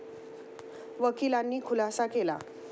वकिलांनी खुलासा केला.